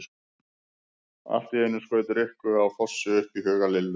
Allt í einu skaut Rikku á Fossi upp í huga Lillu.